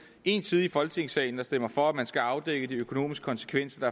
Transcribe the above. ene side i folketingssalen der stemmer for at man skal afdække de økonomiske konsekvenser